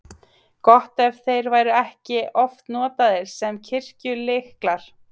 Gott ef þeir voru ekki oft notaðir sem kirkjulyklar.